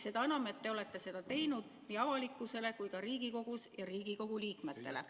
Seda enam, et te olete seda teinud nii avalikkusele kui ka Riigikogus ja Riigikogu liikmetele.